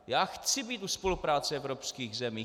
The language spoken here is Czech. Já chci být u spolupráce evropských zemí.